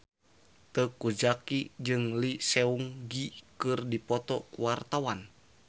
Teuku Zacky jeung Lee Seung Gi keur dipoto ku wartawan